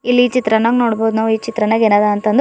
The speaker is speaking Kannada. ಇಲ್ಲಿ ಚಿತ್ರಣ ನಗ ನೋಡ್ಬೋದು ಈ ಚಿತ್ರಣ ನಗ ಏನದ ಅಂತ್ ಅಂದ್ರ.